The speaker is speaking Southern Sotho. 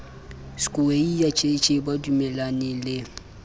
skweyiya jj ba dumellaneng le